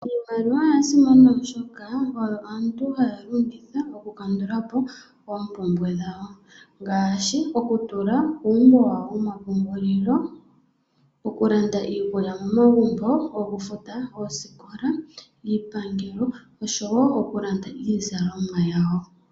Iimaliwa oya simana oshoka, oyo aantu haya longitha okukandulapo oompumbwe dhawo. Ngaashi, okutula muumbo wawo womapungululilo, okulanda iikulya momagumbo, okufuta osikola, iipangelo, oshowo okulanda iizalomwa yawo.